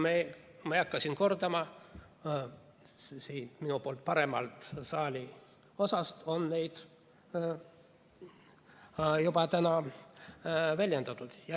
Ma ei hakka siin neid kordama, siit minu poolt vaadates paremast saaliosast on neid täna juba väljendatud.